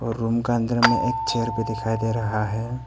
Room का अंदर में एक चेयर भी दिखाई दे रहा है।